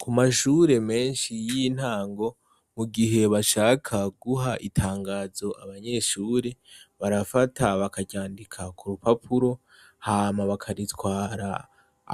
ku mashure menshi y'intango mu gihe bashaka guha itangazo abanyeshure barafata bakaryandika ku rupapuro hama bakaritwara